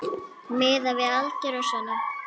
Miðað við aldur og svona.